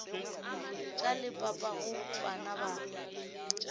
ka le papago bana ba